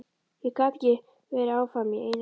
Ég gat ekki verið áfram í einangrun.